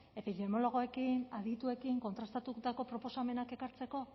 epidemiologoekin adituekin kontrastatutako proposamenak ekartzeko